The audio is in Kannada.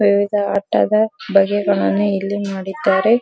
ವಿವಿಧ ಆಟ ಇದೆ ಬಗೆಗಳನ್ನು ಇಲ್ಲಿ ಮಾಡಿದ್ದಾರೆ.